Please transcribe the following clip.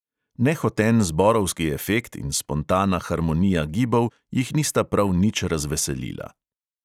Nehoten zborovski efekt in spontana harmonija gibov jih nista prav nič razveselila.